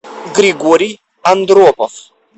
григорий андропов